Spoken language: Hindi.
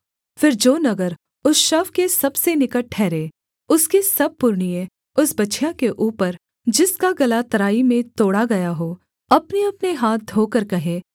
फिर जो नगर उस शव के सबसे निकट ठहरे उसके सब पुरनिए उस बछिया के ऊपर जिसका गला तराई में तोड़ा गया हो अपनेअपने हाथ धोकर कहें